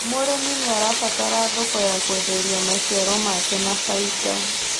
Mũrimi niabataraga thoko ya kwenderia maciaro make na faida